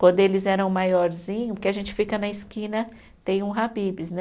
Quando eles eram maiorzinho, porque a gente fica na esquina, tem um Habib's, né?